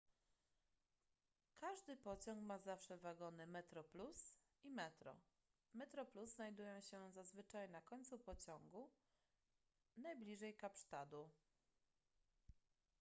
każdy pociąg ma zawsze wagony metroplus i metro metro plus znajdują się zazwyczaj na końcu pociągu najbliżej kapsztadu